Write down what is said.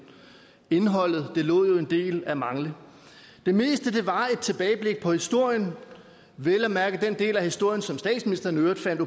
indholdet lod jo en del tilbage at mangle det meste var et tilbageblik på historien vel at mærke den del af historien som statsministeren i øvrigt fandt